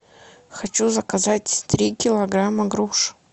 хочу заказать три килограмма груш